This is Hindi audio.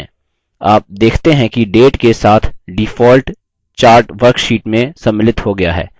आप देखते हैं कि data के साथ default chart worksheet में सम्मिलित हो गया है